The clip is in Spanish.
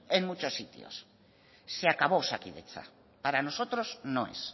en muchos sitios se acabó osakidetza para nosotros no es